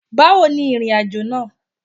Báwo ni ìrìnàjò náà?